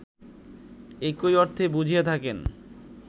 একই অর্থ বুঝিয়া থাকেন